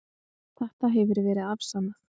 Þetta hefur verið afsannað.